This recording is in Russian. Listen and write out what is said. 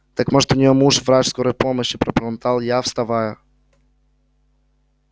так может у неё муж врач скорой помощи пробормотал я вставая